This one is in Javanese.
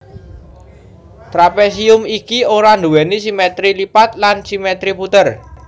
Trapésium iki ora nduwèni simètri lipat lan simètri puter